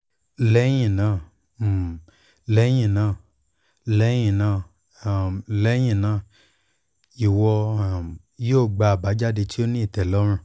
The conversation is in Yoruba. lẹhinna n lẹhinna lẹhinna n lẹhinna iwọ um yoo gba abajade ti o ni itẹlọrun